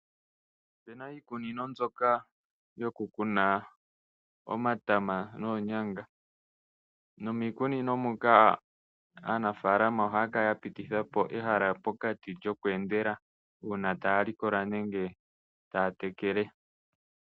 Opu na iikunino mbyoka yokukuna omatama noonyanga. Nomiikunino muka aanafaalama ohaya kala ya pititha po ehala pokati lyokweendela uuna taya likola nenge taya tekele.